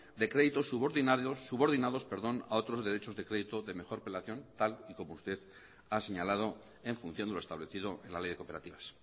de créditos subordinados a otros derechos de crédito de mejor tal y como usted ha señalado en función a lo establecido en la ley de cooperativas